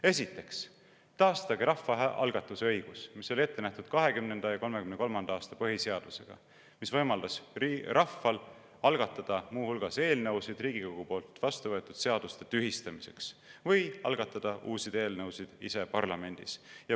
Esiteks taastage rahvaalgatuse õigus, mis oli ette nähtud 1920. ja 1933. aasta põhiseadusega, mis võimaldas rahval algatada muu hulgas eelnõusid Riigikogus vastuvõetud seaduste tühistamiseks või algatada ise parlamendis uusi eelnõusid.